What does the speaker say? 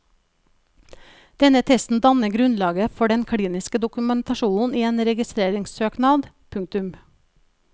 Denne testen danner grunnlaget for den kliniske dokumentasjonen i en registreringssøknad. punktum